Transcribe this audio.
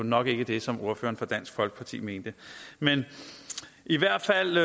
nok ikke det som ordføreren for dansk folkeparti mente i hvert fald